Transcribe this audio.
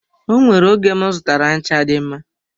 O nwere oge m zụtara ncha dị mma.